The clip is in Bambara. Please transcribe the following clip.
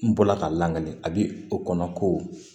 N bɔla ka lakali a bi o kɔnɔ ko